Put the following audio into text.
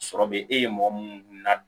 Sɔrɔ be e ye mɔgɔ munnu na